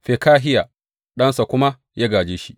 Fekahiya ɗansa kuma ya gāje shi.